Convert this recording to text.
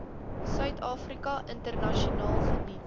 suidafrika internasionaal geniet